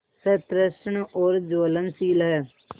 सतृष्ण और ज्वलनशील है